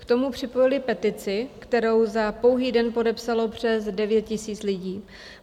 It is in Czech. K tomu připojili petici, kterou za pouhý den podepsalo přes devět tisíc lidí.